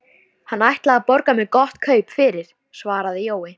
Kvíðinn fyrir komu Valgarðs kitlar innyflin.